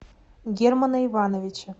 германа ивановича